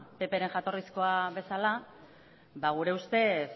ppren jatorrizkoa bezala gure ustez